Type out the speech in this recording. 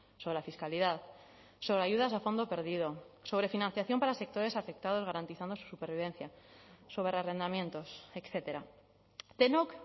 sobre la fiscalidad sobre ayudas a fondo perdido sobre financiación para sectores afectados garantizando su supervivencia sobre arrendamientos etcétera denok